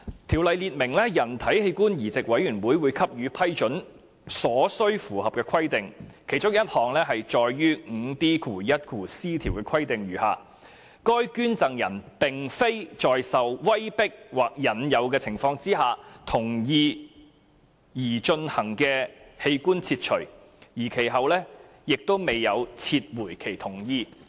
《條例》列明人體器官移植委員會給予批准所需符合的規定，其中一項載於第 5D1c 條的規定如下：該捐贈人並非在受威迫或引誘的情況下同意擬進行的器官切除，而其後亦未有撤回其同意。